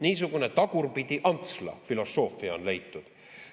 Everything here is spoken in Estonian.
Niisugune Tagurpidi-Antsla filosoofia on leitud.